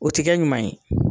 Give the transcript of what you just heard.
O ti kɛ ɲuman ye.